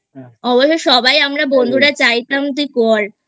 অবশ্য সবাই আমরা বন্ধুরা চাইতাম তুই কর I